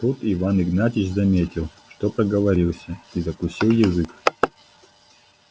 тут иван игнатьич заметил что проговорился и закусил язык